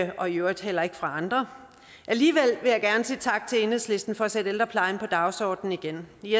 og i øvrigt heller ikke fra andre alligevel vil jeg gerne sige tak til enhedslisten for at sætte ældreplejen på dagsordenen igen i